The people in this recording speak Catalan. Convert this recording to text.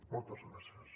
moltes gràcies